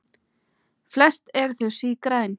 Flest eru þau sígræn.